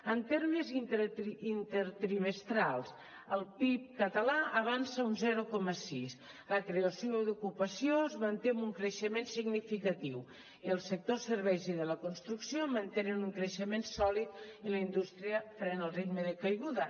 en termes intertrimestrals el pib català avança un zero coma sis la creació d’ocupació es manté amb un creixement significatiu i el sector serveis i de la construcció mantenen un creixement sòlid i la indústria frena el ritme de caiguda